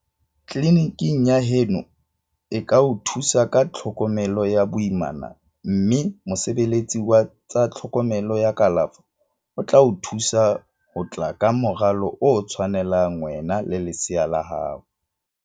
Tleliniki ya heno e ka o thusa ka tlhokomelo ya boimana mme mosebeletsi wa tsa tlhokomelo ya kalafo o tla o thusa ho tla ka moralo o tshwanelang wena le lesea la hao.